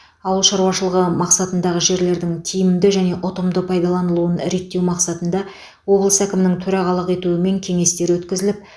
ауыл шаруашылығы мақсатындағы жерлердің тиімді және ұтымды пайдаланылуын реттеу мақсатында облыс әкімінің төрағалық етуімен кеңестер өткізіліп